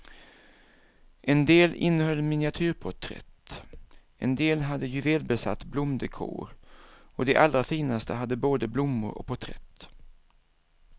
En del innehöll miniatyrporträtt, en del hade juvelbesatt blomdekor, och de allra finaste hade både blommor och porträtt.